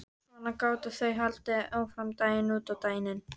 Svona gátu þau haldið áfram daginn út og daginn inn.